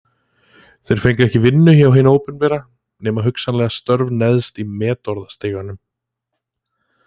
Þeir fengu ekki vinnu hjá hinu opinbera, nema hugsanlega störf neðst í metorðastiganum.